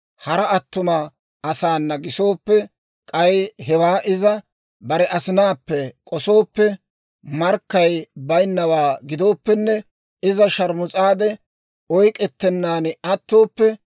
hara attuma asaana gisooppe, k'ay hewaa iza bare asinaappe k'osooppe, markkay baynnawaa gidooppenne, iza sharmus'aade oyk'k'ettennan attooppe,